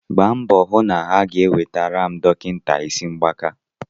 gbaa mbọ hụ na ha ga-ewetara m dọkịta isi mgbaka